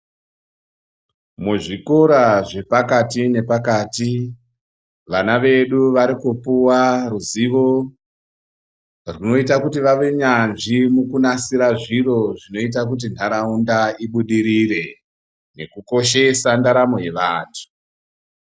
Muzvikora zvepakati nepakati vana vedu varikupuwa ruzivo runoita kuti vave nyanzvi mukunasira zviro zvinoita kuti nharaunda ibudirire nekukoshesa ndaramo yevanthu.